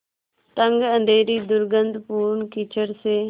तंग अँधेरी दुर्गन्धपूर्ण कीचड़ से